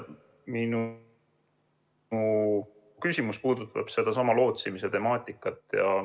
Mu küsimus puudutab sedasama lootsimise temaatikat.